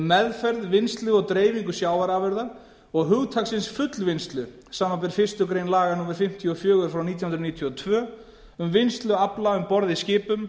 meðferð vinnslu og dreifingu sjávarafurða og hugtaksins fullvinnslu samanber fyrstu grein laga númer fimmtíu og fjögur nítján hundruð níutíu og tvö um vinnslu afla um borð í skipum